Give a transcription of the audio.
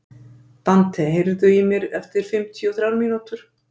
Dante, heyrðu í mér eftir fimmtíu og þrjár mínútur.